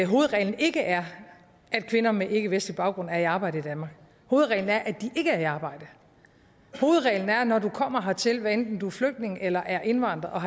hovedreglen ikke er at kvinder med ikkevestlig baggrund er i arbejde i danmark hovedreglen er at de ikke er i arbejde hovedreglen er at når du kommer hertil hvad enten du er flygtning eller indvandrer og